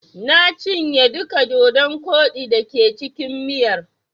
Na cinye duka dodon koɗi da ke cikin miyar.